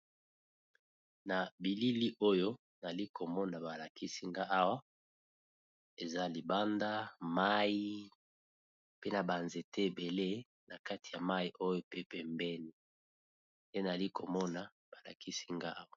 na bilili oyo nali komona balakisi nga awa eza libanda mai mpe na banzete ebele na kati ya mai oyo pe pembeni te nali komona balakisi nga awa